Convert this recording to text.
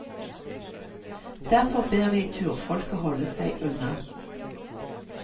Derfor ber vi turfolket holde seg unna.